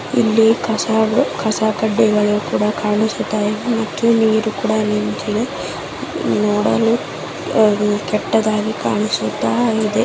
ಇಲ್ಲಿಕಸಕಡ್ಡಿಗಳು ಕಾನಿಸ್ತಾಇದೆ ಇಲ್ಲಿ ನೀರು ಕೂಡ ನಿಂತಿದೆ. ನೋಡಲು ಕೆಟ್ಟದಾಗಿ ಕಾಣಿಸುತ್ತದೆ.